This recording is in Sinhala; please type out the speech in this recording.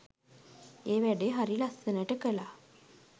ඒ වැඩේ හරි ලස්සනට කළා.